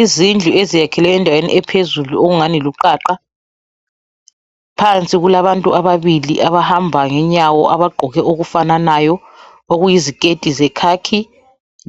Izindlu ezakhelwe endaweni ephezulu ungani luqaqa phansi kulabantu ababili abahamba ngenyawo abagqoke okufananayo okuyiziketi zekhakhi